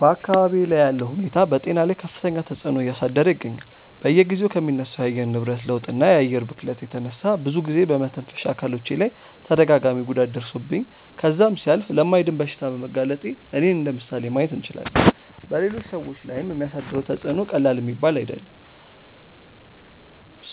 በአካባብዬ ላይ ያለው ሁኔታ በጤና ላይ ከፍተኛ ተፅዕኖ እያሳደረ ይገኛል። በየጊዜው ከሚነሳው የአየር ንብረት ለውጥ እና የአየር ብክለት የተነሳ ብዙ ጊዜ በመተንፈሻ አካሎቼ ላይ ተደጋጋሚ ጉዳት ደርሶብኝ ከዛም ሲያልፍ ለማይድን በሽታ በመጋለጤ እኔን እንደምሳሌ ማየት እንችላለን። በሌሎች ሰዎች ላይም የሚያሳድረው ተፅዕኖ ቀላል የሚባል አይደለም።